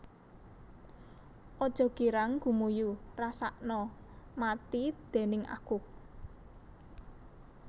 Aja girang gumuyu rasakna mati déning aku